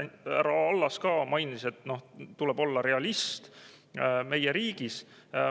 Härra Allas ka mainis, et tuleb olla realist meie riigis.